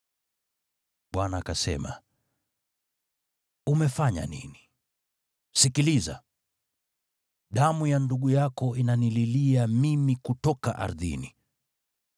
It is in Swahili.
Bwana akasema, “Umefanya nini? Sikiliza! Damu ya ndugu yako inanililia mimi kutoka ardhini.